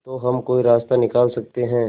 तो हम कोई रास्ता निकाल सकते है